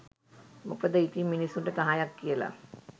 මොකද ඉතින් මිනිස්සුන්ට නහයක් කියල